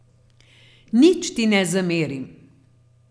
Nič ti ne zamerim.